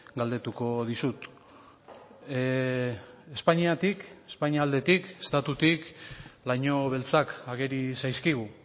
galdetuko dizut espainiatik espainia aldetik estatutik laino beltzak ageri zaizkigu